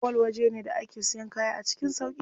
Mall waje ne da ake siyan kaya a cikin sauƙi.